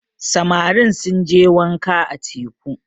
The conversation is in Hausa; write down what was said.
samari sun je wànka a teku